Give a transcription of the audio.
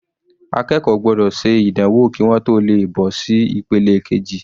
Akẹ́kọ̀ọ́ gbọ́dọ̀ ṣe ìdánwò kí wọ́n tó le bọ́ sí ìpele keji.